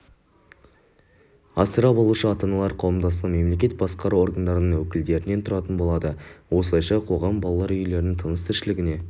асырап алушы ата-аналар қауымдастығының мемлекеттік басқару органдарының өкілдерінен тұратын болады осылайша қоғам балалар үйлерінің тыныс-тіршіліне